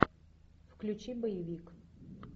включи боевик